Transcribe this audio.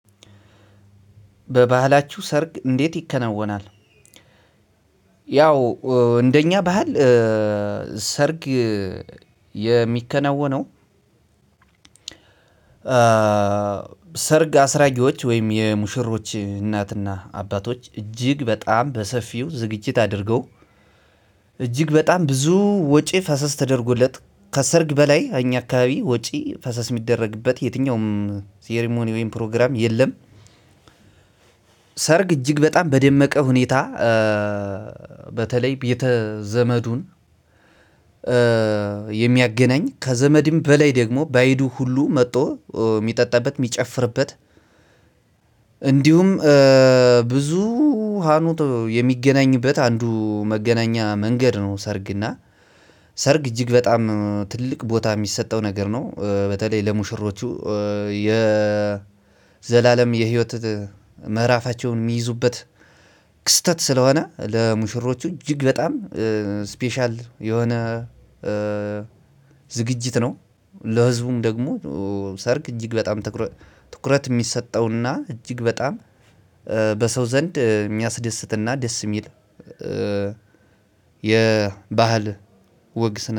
በባህላችሁ ሰርግ እንዴት ይከነወናል? ያው እንደኛ ባህል ሰርግ የሚከናወነው ሰርግ አስራጊዎች ወይም የሙሽሮች እናትና አባቶች እጅግ በጣም በሰፊው ዝግጅት አድርገው እጅግ በጣም ብዙ ወጪ ፈሰስ ተደርጎለት ከሰርግ በላይ እኛ አካባቢ ወጪ ፈሰስ የሚደረግበት የትኛውም ሴርሞኒዮ ወይም ፕሮግራም የለም። ሰርግ እጅግ በጣም በደመቀ ሁኔታ በተለይ ቤተ ዘመዱን የሚያገናኝ ከዘመድም በላይ ደግሞ ባይዱ ሁሉ መጥቶ የሚጠጣበት የሚጨፍርበት እንዲሁም ብዙ ሀኖት የሚገናኝበት አንዱ መገናኛ መንገድ ነው። ሰርግና ሰርግ እጅግ በጣም ትልቅ ቦታ የሚሰጠው ነገር ነው። በተለይ ለሙሽሮቹ የዘላለም የህይወት ምዕራፋቸውን የሚይዙበት ክስተት ስለሆነ ለሙሽሮቹ እጅግ በጣም ስፔሻል የሆነ ዝግጅት ነው። ለህዝቡም ደግሞ ሰርግ እጅግ በጣም ትኩረት የሚሰጠውና እጅግ በጣም በሰው ዘንድ የሚያስደስትና ደስ የሚል የባህል ወግ ስነ